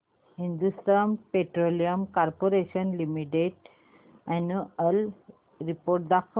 Hindustan petroleum corporation limited annual report दाखव